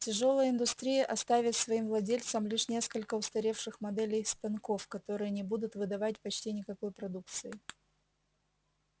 тяжёлая индустрия оставит своим владельцам лишь несколько устаревших моделей станков которые не будут выдавать почти никакой продукции